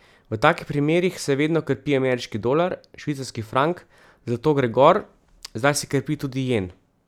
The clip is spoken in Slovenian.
V takih primerih se vedno krepi ameriški dolar, švicarski frank, zlato gre gor, zdaj se krepi tudi jen.